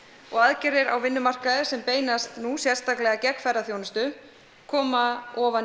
og aðgerðir á vinnumarkaði sem beinast nú sérstaklega gegn ferðaþjónustu koma ofan í